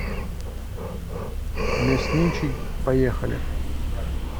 мясничий поехали